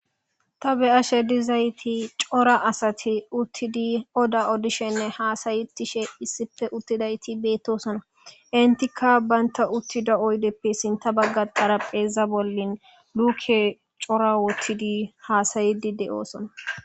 ta be ashe dizayti cora asati uttidi oda odishenne haasaytishe issife uttidayti beettosona intikka baynta uttida oydeppe sinta bagga qarapheeza bollin luke cora wottidi haasayidi de7oosona